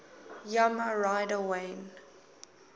yamaha rider wayne